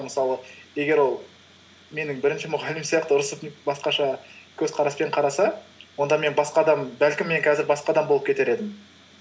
мысалы егер ол менің бірінші мұғалімім сияқты ұрысып басқаша көзқараспен қараса онда мен басқа адам бәлкім мен қазір басқа адам болып кетер едім